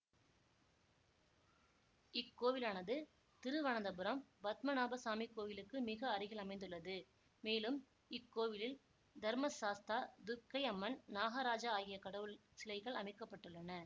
இக்கோவிலானது திருவனந்தபுரம் பத்மநாபசாமி கோயிலுக்கு மிக அருகில் அமைந்துள்ளது மேலும் இக்கோவிலில் தர்மசாஸ்தா துர்கை அம்மன் நாகராஜா ஆகிய கடவுள் சிலைகள் அமைக்க பட்டுள்ளன